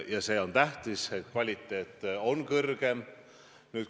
Ja see on tähtis, et kvaliteet on kõrgem.